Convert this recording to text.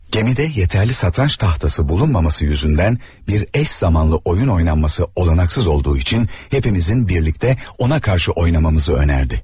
Gəmidə kifayət qədər şahmat taxtası olmaması səbəbindən eyni vaxtda oyun oynamaq qeyri-mümkün olduğu üçün, hamımızın birlikdə ona qarşı oynamağımızı təklif etdi.